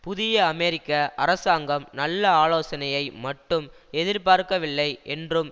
புதிய அமெரிக்க அரசாங்கம் நல்ல ஆலோசனையை மட்டும் எதிர்பார்க்கவில்லை என்றும்